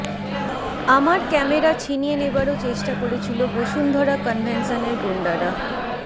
আমার ক্যামেরা ছিনিয়ে নেবারও চেষ্টা করেছিল বসুন্ধরা কনভেশনের গুণ্ডরা